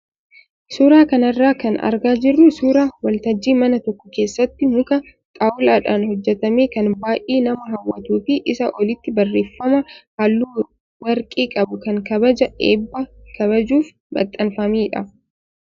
Suuraa kanarraa kan argaa jirru suuraa wal tajjii mana tokko keessatti muka xaawulaadhaan hojjatame kan baay'ee nama hawwatuu fi isaa olitti barreeffama halluu warqee qabu kan kabaja eebbaa kabajuuf maxxanfamedha.